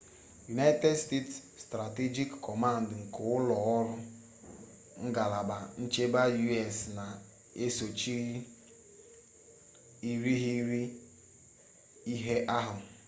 united states strategic command nke ụlọ ọrụ ngalaba nchebe u.s. na-esochi irighiri ihe ahụ